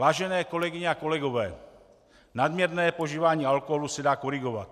Vážené kolegyně a kolegové, nadměrné požívání alkoholu se dá korigovat.